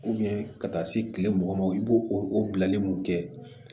ka taa se kile mugan ma i b'o o bilalen mun kɛ